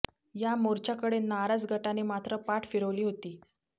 या मोर्चाकडे नाराज गटाने मात्र पाठ फिरवली होती